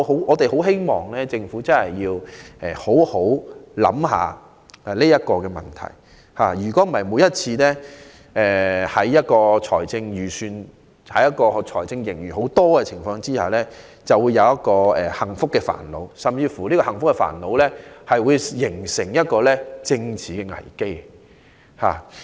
我們很希望政府能好好思考這個問題，否則每次出現豐厚財政盈餘時，便會面對幸福的煩惱，這煩惱甚至會形成一個政治危機。